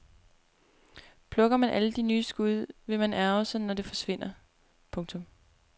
Plukker man alle de nye skud vil man ærgre sig når det forsvinder. punktum